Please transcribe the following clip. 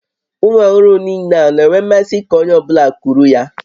Ụmụ ọhụrụ niile a na-enwe mmasị ka onye ọ bụla kuru ya?